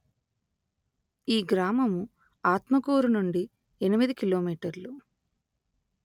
ఈ గ్రామము ఆత్మకూరు నుండి ఎనిమిది కిలో మీటర్లు